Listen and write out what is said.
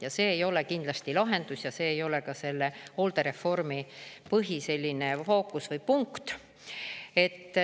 Ja see ei ole kindlasti lahendus ja see ei ole ka selle hooldereformi põhiline fookuspunkt.